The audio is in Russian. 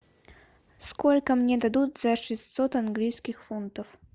сколько мне дадут за шестьсот английских фунтов